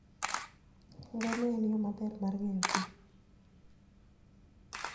Ngamia en yo maber mar ng'eyo thim